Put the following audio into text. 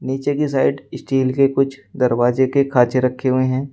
नीचे की side steel के कुछ दरवाजे के खांचे रखे हुए हैं।